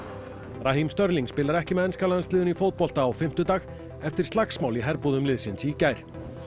raheem Sterling spilar ekki með enska landsliðinu í fótbolta á fimmtudag eftir slagsmál í herbúðum liðsins í gær